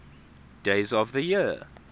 days of the year